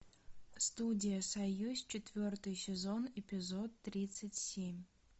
студия союз четвертый сезон эпизод тридцать семь